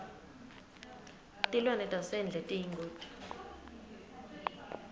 tilwane tasendle tiyingoti